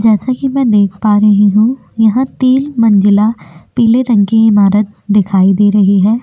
जैसा कि मैं देख पा रही हूँ यहाँ तील मंजिला पीले रंग की ईमारत दिखाई दे रही हैं।